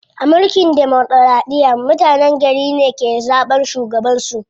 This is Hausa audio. A mulkin demokiraɗiya, mutenen gari ne ke zaɓan shugaban su.